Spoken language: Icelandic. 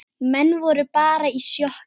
Menn voru bara í sjokki.